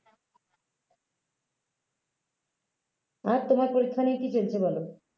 আর তোমার পরীক্ষা নিয়ে কি চলছে বলো